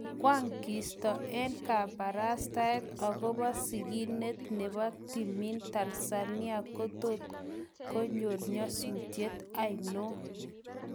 Kwang kisto eng kaparastaet agopa siginet nepo timin Tanzania kotot koyrol nyetusiet ano?